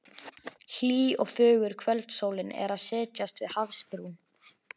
Hlý og fögur kvöldsólin er að setjast við hafsbrún.